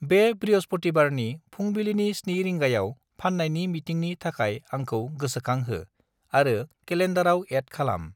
बे बृहस्पथिबारनि फुंबिलिनि 7 रिंगायाव फान्नायनि मिटिंनि थाखाय आंखौ गोसोंखांहो आरो केलेन्डाराव एद खालाम।